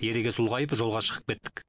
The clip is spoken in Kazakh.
ерегес ұлғайып жолға шығып кеттік